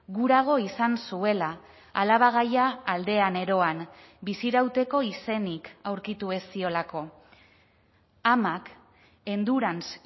gurago izan zuela alabagaia aldean eroan bizirauteko izenik aurkitu ez ziolako amak endurance